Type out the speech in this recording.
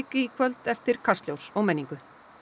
í kvöld eftir Kastljós og menningu